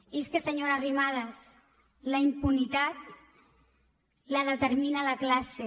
i és que senyora arrimadas la impunitat la determina la classe